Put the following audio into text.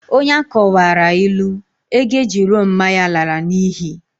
Onye akọwaara ilu, ego eji lụọ mma ya lara n'ihi.